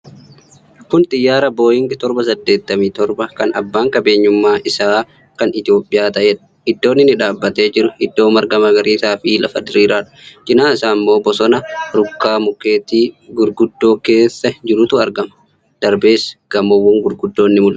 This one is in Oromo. Kun Xiyyaara Booyingi 787, kan Abbaan qabeenyummaa isaa Kan Itiyoophiyaa ta'eedha. Iddoon inni dhaabatee jiru iddoo marga magariisaa fi lafa diriiraadha. Cinaa isaa ammoo bosona rukkaa mukeetii gurguddoon keessa jirutu argama. Darbees gamoowwan gurguddoon ni mul'atu.